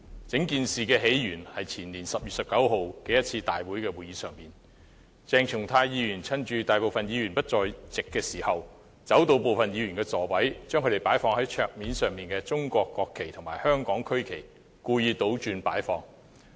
整件事的起源是在前年10月19日的立法會會議上，鄭松泰議員趁大部分議員不在席時，走到部分議員的座位，把他們擺放在桌上的中國國旗和香港區旗故意倒插。